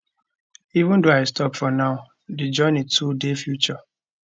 even though i stop for now di journey to di future